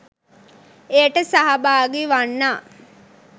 එයට සහභාගී වන්නා